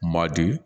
Ma di